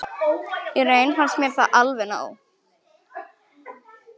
Í raun fannst mér það alveg nóg